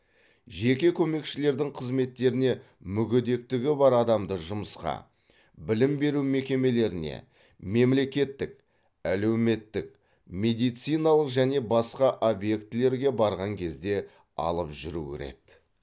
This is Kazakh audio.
жеке көмекшілердің қызметтеріне мүгедектігі бар адамды жұмысқа білім беру мекемелеріне мемлекеттік әлеуметтік медициналық және басқа объектілерге барған кезде алып жүру кіреді